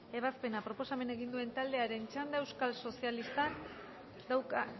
ebazpena proposamena egin duen taldearen txanda